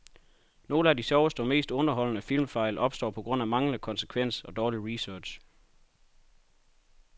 Nogle af de sjoveste og mest underholdende filmfejl opstår på grund af manglende konsekvens og dårlig research.